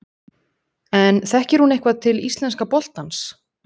En þekkir hún eitthvað til íslenska boltans?